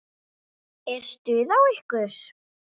Er stuð á ykkur?